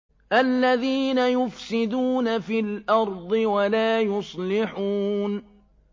الَّذِينَ يُفْسِدُونَ فِي الْأَرْضِ وَلَا يُصْلِحُونَ